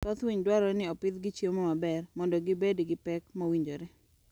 Thoth winy dwarore ni opidhgi chiemo maber mondo gi bed gi pek mowinjore